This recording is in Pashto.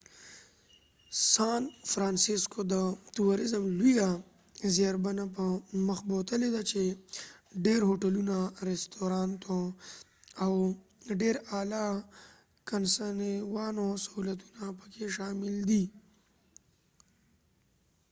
سان فرانسسکو د تورزم لويه زیربنا په مخ بوتلی ده چې ډیر هوټلونه ،رستوراتونه او ډیر اعلی د کنوانسیون سهولتونه پکې شامل دي